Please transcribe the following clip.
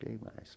Quem mais?